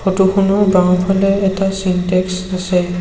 Photo খনৰ বাওঁফালে এটা চিনটেক্স আছে।